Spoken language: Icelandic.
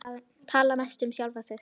Tala mest um sjálfan sig.